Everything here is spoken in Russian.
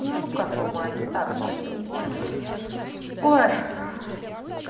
ну как нормально так пойдёт ой